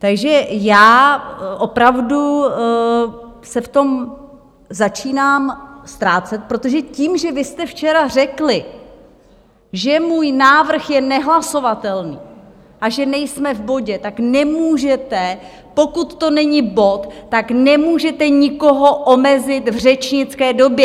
Takže já opravdu se v tom začínám ztrácet, protože tím, že vy jste včera řekli, že můj návrh je nehlasovatelný a že nejsme v bodě, tak nemůžete, pokud to není bod, tak nemůžete nikoho omezit v řečnické době!